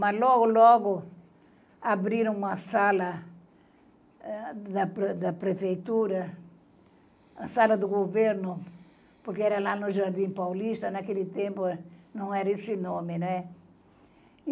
Mas, logo, logo, abriram uma sala, eh da prefeitura, a sala do governo, porque era lá no Jardim Paulista, naquele tempo não era esse nome, né.